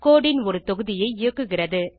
கோடு ன் ஒரு தொகுதியை இயக்குகிறது